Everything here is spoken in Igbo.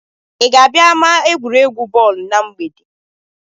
Ị ga-abịa ama n'egwuregwu bọọlụ na mgbede?